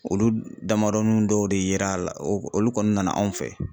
Olu damadɔnun dɔw de yera la olu kɔni nana anw fɛ